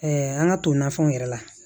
an ka to nafɛnw yɛrɛ la